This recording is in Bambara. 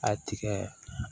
A tigɛ